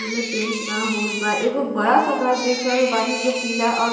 जेमे पेंट न होईल बा। एगो बड़ा सा घर देख रहल बानी जे पीला और --